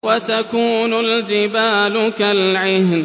وَتَكُونُ الْجِبَالُ كَالْعِهْنِ